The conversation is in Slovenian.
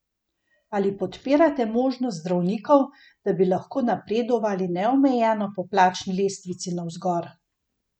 Ali podpirate možnost zdravnikov, da bi lahko napredovali neomejeno po plačni lestvici navzgor?